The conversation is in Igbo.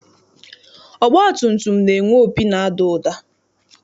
Ọgbatumtum na-enwe opi na-ada ụda.